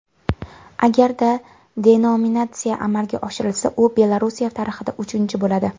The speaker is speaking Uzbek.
Agarda denominatsiya amalga oshirilsa, u Belorussiya tarixida uchinchisi bo‘ladi.